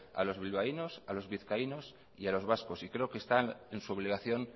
a los bilbaínos a los vizcaínos y a los vascos y creo que está en su obligación